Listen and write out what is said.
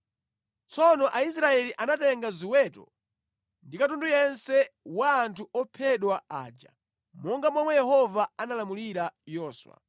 Tsono Aisraeli anatenga zoweta ndi katundu yense wa anthu ophedwa aja, monga momwe Yehova analamulira Yoswa.